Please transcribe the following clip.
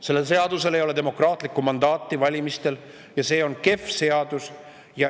Sellele seadusele ei ole valmistel antud demokraatlikku mandaati ja see on kehv seadus.